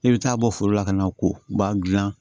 E bɛ taa bɔ foro la ka na ko ba gilan